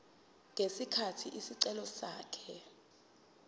ngesikhathi isicelo sakhe